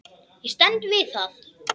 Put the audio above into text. Ég stend við það.